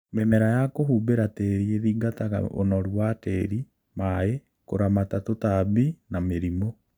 Mĩmera ya kũhumbĩra tĩri ĩthingataga ũnoru wa tĩri, maĩĩ, kũramata tũtambi na mĩrimũ